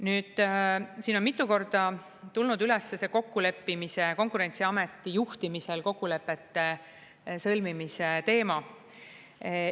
Nüüd, siin on mitu korda tulnud üles see kokkuleppimise, Konkurentsiameti juhtimisel kokkulepete sõlmimise teema.